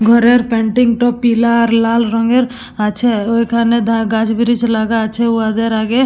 ঘরের পেন্টিং তো পিলা আর লাল রঙের আছে ওইখানে ধা গাছ ব্রিজ লাগা আছে উহা দের আগে।